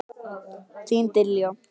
Þín Diljá.